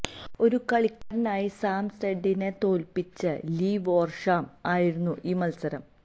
ഒരു കളിക്കാരനായി സാം സ്നെഡിനെ തോൽപ്പിച്ച ലീ വോർഷാം ആയിരുന്നു ഈ മത്സരം